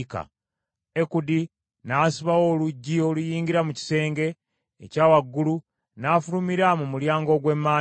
Ekudi n’asibawo oluggi oluyingira mu kisenge ekya waggulu, n’afulumira mu mulyango ogw’emanju.